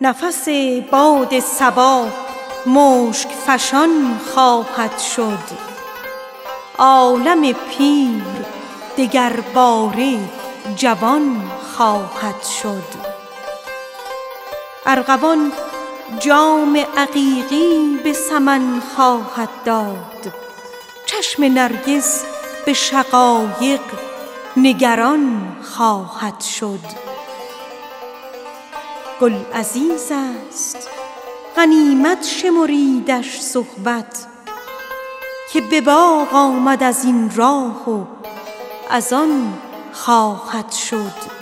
نفس باد صبا مشک فشان خواهد شد عالم پیر دگرباره جوان خواهد شد ارغوان جام عقیقی به سمن خواهد داد چشم نرگس به شقایق نگران خواهد شد این تطاول که کشید از غم هجران بلبل تا سراپرده گل نعره زنان خواهد شد گر ز مسجد به خرابات شدم خرده مگیر مجلس وعظ دراز است و زمان خواهد شد ای دل ار عشرت امروز به فردا فکنی مایه نقد بقا را که ضمان خواهد شد ماه شعبان منه از دست قدح کاین خورشید از نظر تا شب عید رمضان خواهد شد گل عزیز است غنیمت شمریدش صحبت که به باغ آمد از این راه و از آن خواهد شد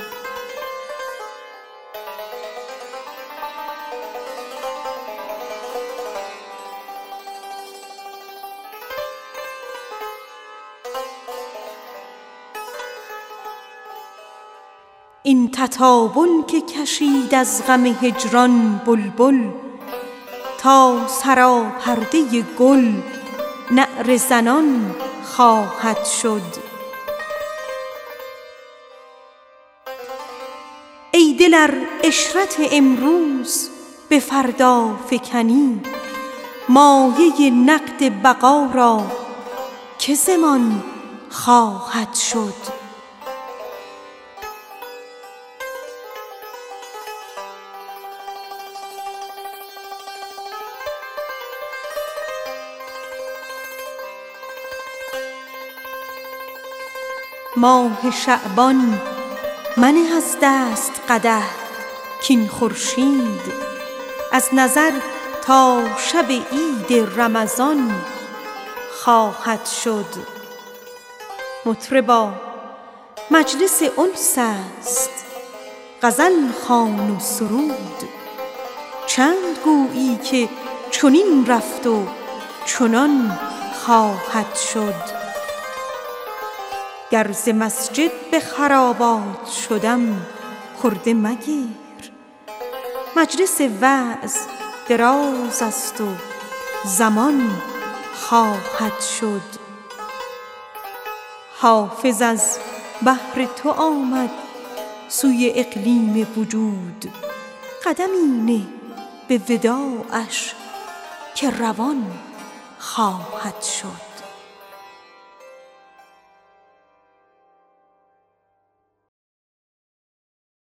مطربا مجلس انس است غزل خوان و سرود چند گویی که چنین رفت و چنان خواهد شد حافظ از بهر تو آمد سوی اقلیم وجود قدمی نه به وداعش که روان خواهد شد